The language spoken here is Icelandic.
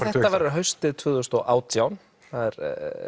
þetta verður haustið tvö þúsund og átján það er